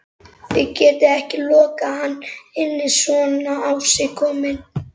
Þið getið ekki lokað hann inni svona á sig kominn